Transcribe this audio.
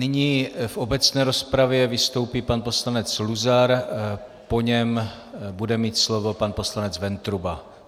Nyní v obecné rozpravě vystoupí pan poslanec Luzar, po něm bude mít slovo pan poslanec Ventruba.